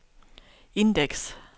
indeks